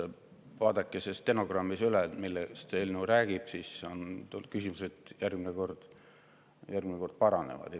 Vaadake stenogrammist üle, millest see eelnõu räägib, siis järgmine kord küsimused paranevad.